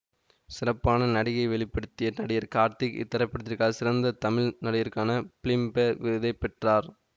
சிறப்பான நடிப்பை வெளி படுத்திய நடிகர் கார்த்திக் இத்திரைப்படத்திற்காக சிறந்த தமிழ் நடிகருக்கான பிலிம்பேர் விருதை பெற்றார்